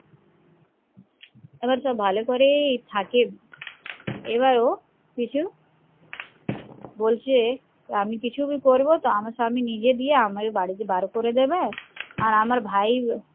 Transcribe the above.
আবার সব ভালোকরেই থাকে আবার ও কিছু বলছে আমি কিছুকি করবো তো আমার স্বামী নিজে দিয়ে আমায় বাড়িতে বার করে দেবে আর আমার ভাই